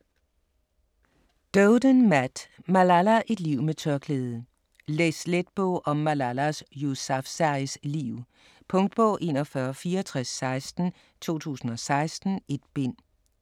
Doeden, Matt: Malala: et liv med tørklæde Læs let bog om Malalas Yousafzais liv. Punktbog 416416 2016. 1 bind.